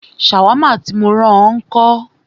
Ṣàwámà tí mó rán ọ ńkọ́?